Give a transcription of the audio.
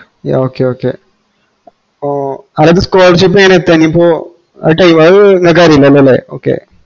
yeah okay okay അപ്പൊ അതാത് scholarship അത് ഇങ്ങക്ക് അറീല്ലല്ലോലെ okay